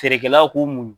Feerekɛlaw k'u muɲu